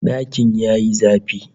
Dakin ya yi zafi